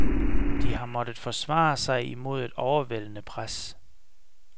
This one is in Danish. De har måttet forsvare sig imod et overvældende pres.